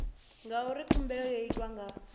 ngauri khumbelo yo itwa nga